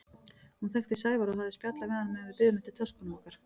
Hún þekkti Sævar og hafði spjallað við hann meðan við biðum eftir töskunum okkar.